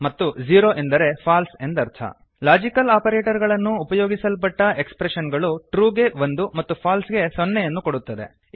ಮತ್ತು ಝೀರೋ ಎಂದರೆ ಫಾಲ್ಸ್ ಎಂದರ್ಥ ಲಾಜಿಕಲ್ ಆಪರೇಟರ್ ಗಳನ್ನು ಉಪಯೋಗಿಸಲ್ಪಟ್ಟ ಎಕ್ಸ್ಪ್ರೆಶನ್ ಗಳು ಟ್ರು ಗೆ ಒಂದು ಮತ್ತು ಫಾಲ್ಸ್ ಗೆ ಸೊನ್ನೆಯನ್ನು ಕೊಡುತ್ತದೆ